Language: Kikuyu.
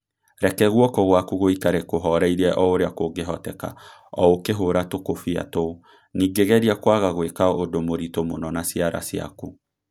Reke guoko gwaku gũikare kũhooreire o ũrĩa kũngĩhoteka o ũkĩhũũra tũkũbia tũu- ningĩ geria kwaga gwika ũndũ mũritũ mũno na ciara ciaku.